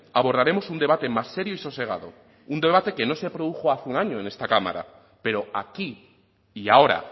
abordaremos un debate más serio y sosegado un debate que no se produjo hace un año en esta cámara pero aquí y ahora